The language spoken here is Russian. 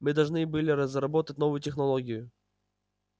мы должны были разработать новую технологию